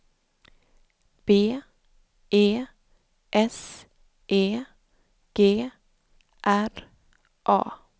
B E S E G R A